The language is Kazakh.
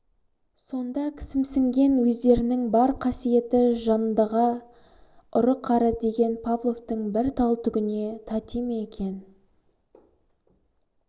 сонда кісімсінген өздерінің бар қасиеті жандғы ұры-қары деген павловтың бір тал түгіне тати ма екен